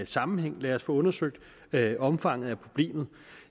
sammenhæng lad os få undersøgt omfanget af problemet